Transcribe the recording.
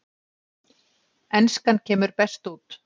Enskan kemur best út